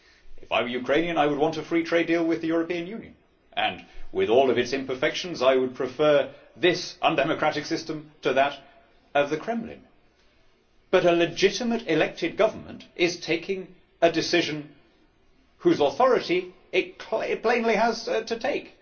If I were Ukrainian, I would want a free trade deal with the European Union and with all of its imperfections I would prefer this undemocratic system to that of the Kremlin, but a legitimate, elected government is taking a decision which it plainly has the authority to take.